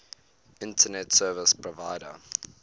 internet service provider